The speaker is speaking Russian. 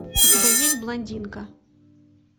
у тебя есть блондинка